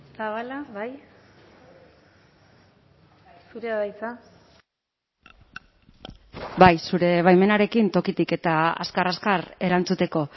zabala bai zurea da hitza bai zure baimenarekin tokitik eta azkar azkar erantzuteko